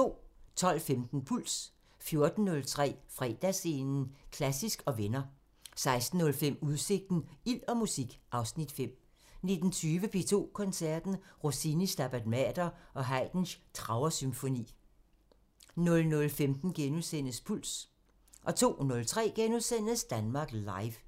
12:15: Puls 14:03: Fredagsscenen – Klassisk & venner 16:05: Udsigten – Ild og musik (Afs. 5) 19:20: P2 Koncerten – Rossinis Stabat Mater og Haydns Trauer-symfoni 00:15: Puls * 02:03: Danmark Live *